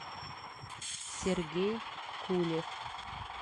сергей кулев